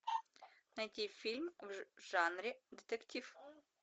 найти фильм в жанре детектив